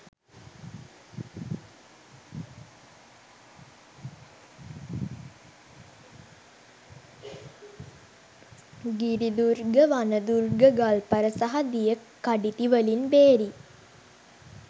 ගිරිදුර්ග වන දුර්ග ගල්පර සහ දිය කඩිතිවලින් බේරී